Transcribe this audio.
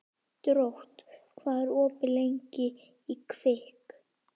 Drótt, hvað er opið lengi í Kvikk?